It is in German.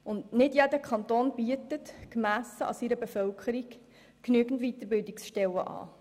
Und nicht jeder Kanton bietet, gemessen an seiner Bevölkerung, genügend Weiterbildungsstellen an.